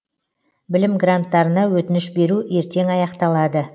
білім гранттарына өтініш беру ертең аяқталады